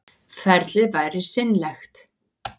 Ferlið væri seinlegt